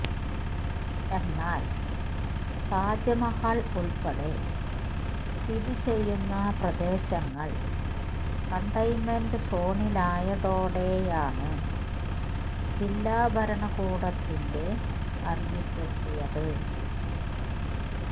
എന്നാല് താജ്മഹല് ഉള്പ്പെടെ സ്ഥിതി ചെയ്യുന്ന പ്രദേശങ്ങള് കണ്ടെയ്ന്മെന്റ് സോണിലായതതോടെയാണ് ജില്ലാ ഭരണകൂടത്തിന്റെ അറിയിപ്പെത്തിയത്